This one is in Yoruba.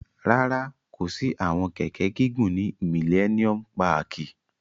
Rárá, ko si awọn kẹkẹ gigun ni Milleniom pààki